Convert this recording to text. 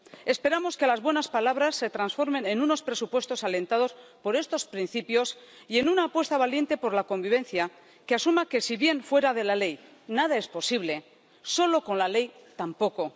Esperamos que las buenas palabras se transformen en unos presupuestos alentados por estos principios y en una apuesta valiente por la convivencia que asuma que, si bien fuera de la ley, nada es posible, solo con la ley, tampoco.